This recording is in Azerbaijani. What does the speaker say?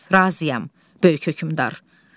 Razıyam, böyük hökmdar.